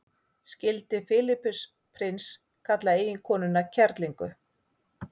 skildi filippus prins kalla eiginkonuna kerlingu